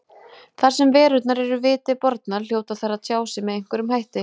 Þar sem verurnar eru viti bornar hljóta þær að tjá sig með einhverjum hætti.